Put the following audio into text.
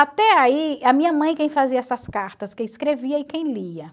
Até aí, a minha mãe quem fazia essas cartas, quem escrevia e quem lia.